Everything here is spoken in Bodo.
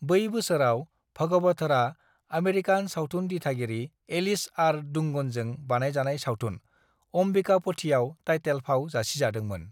"बै बोसोराव, भगवथरआ आमेरिकान सावथुन दिथागिरि एलिस आर डुंगनजों बानायजानाय सावथुन अम्बिकापथीआव टाइटेल फाव जासिजादोंमोन।"